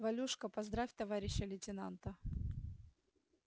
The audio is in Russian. валюшка поздравь товарища лейтенанта